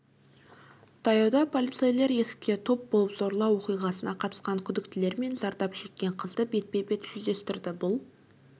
таяуда полицейлер есікте топ болып зорлау оқиғасына қатысқан күдіктілер мен зардап шеккен қызды бетпе-бет жүздестірді бұл